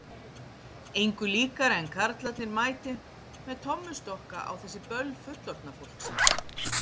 Engu líkara en karlarnir mæti með tommustokka á þessi böll fullorðna fólksins.